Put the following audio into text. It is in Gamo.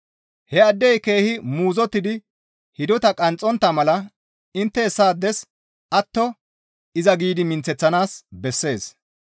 Hessaaddey keehi muuzottidi hidota qanxxontta mala intte hessaades atto giidi iza minththeththanaas bessees.